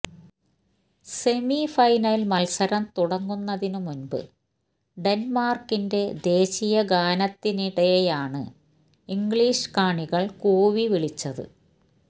semi final മത്സരം തുടങ്ങുന്നതിനു മുൻപ് ഡെന്മാർക്കിന്റെ ദേശീയഗാനത്തിനിടെയാണ് ഇംഗ്ലീഷ് കാണികൾ കൂവി വിളിച്ചത്